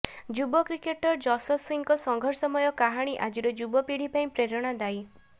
ଯୁବ କ୍ରିକେଟର ଜଶ୍ୱସୀଙ୍କ ସଂଘର୍ଷମୟ କାହାଣୀ ଆଜିର ଯୁବ ପୀଢ଼ି ପାଇଁ ପ୍ରେରଣାଦାୟୀ